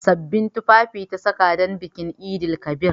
Sabbin tufafi ta saka don bikin Eid-el-kabir.